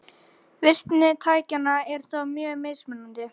Virkni tækjanna er þó mjög mismunandi.